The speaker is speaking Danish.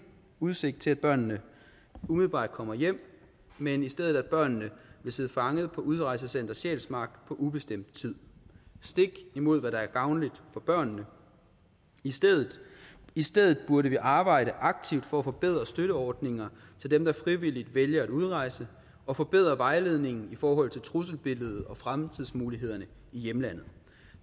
udsigt til at børnene umiddelbart kommer hjem men i stedet for at børnene vil sidde fanget på udrejsecenter sjælsmark på ubestemt tid stik imod hvad der er gavnligt for børnene i stedet i stedet burde vi arbejde aktivt for at forbedre støtteordninger til dem der frivilligt vælger at udrejse og forbedre vejledningen i forhold til trusselsbilledet og fremtidsmulighederne i hjemlandet